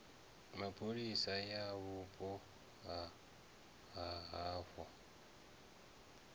mapholisa ya vhupo ha havho